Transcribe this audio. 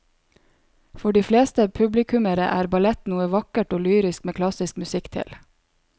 For de fleste publikummere er ballett noe vakkert og lyrisk med klassisk musikk til.